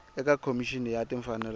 eka khomixini ya timfanelo ta